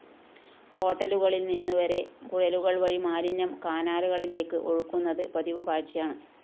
ഹോട്ടലുകളില്‍ നിന്നുവരെ കുഴലുകള്‍ വഴി മാലിന്യം കാനകളിലേക്ക്‌ ഒഴുക്കുന്നത്‌ പതിവുകാഴ്ചയാണ്‌